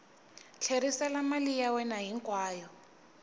tlherisela mali ya wena hinkwayo